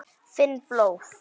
Finn blóð.